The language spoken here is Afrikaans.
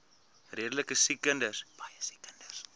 redelike siek kinders